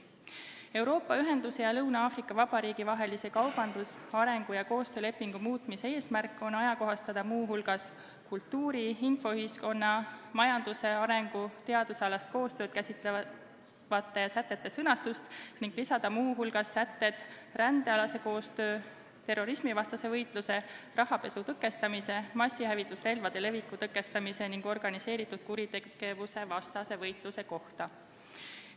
Euroopa Ühenduse ja Lõuna-Aafrika Vabariigi vahelise kaubandus-, arengu- ja koostöölepingu muutmise eesmärk on ajakohastada muu hulgas kultuuri-, infoühiskonna-, majandusarengu- ning teadusalast koostööd käsitlevate sätete sõnastust ning lisada sätted rändealase koostöö, terrorismivastase võitluse, rahapesu tõkestamise, massihävitusrelvade leviku tõkestamise ning organiseeritud kuritegevuse vastase võitluse kohta.